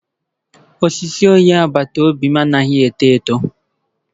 Osisi onye agbata obi m anaghị eto eto